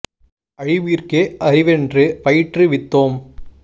அழிவிற்கே அறிவென்று பயிற்று வித்தோம்